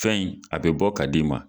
Fɛn in a bɛ bɔ ka d'i ma.